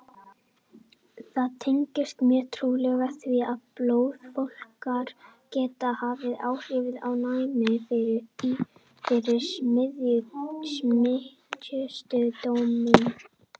Það tengist mjög trúlega því, að blóðflokkar geta haft áhrif á næmi fyrir smitsjúkdómum.